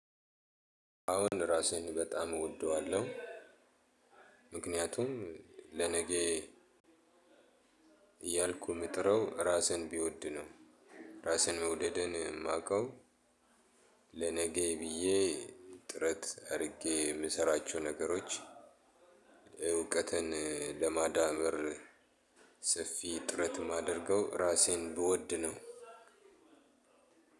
አዎን ራሴን በጣም እወደዋለሁ። ምክንያቱም ለነገ እያልኩ ምጥረው ራሴን ብወድ ነው። ራሴን መውደዴን የማውቀው ለነገዬ ብዬ ጥረት አድርጌ የምሰራቸው ነገሮች። እውቀትን ለማዳበር ሰፊ ጥረት የማደርገው ራሴን ብወድ ነው።